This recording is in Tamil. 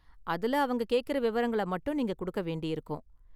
அதுல அவங்க கேக்கற விவரங்கள மட்டும் நீங்க கொடுக்க வேண்டியிருக்கும்.